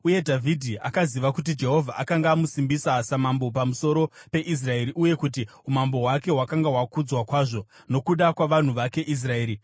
Uye Dhavhidhi akaziva kuti Jehovha akanga amusimbisa samambo pamusoro peIsraeri uye kuti umambo hwake hwakanga hwakudzwa kwazvo nokuda kwavanhu vake Israeri.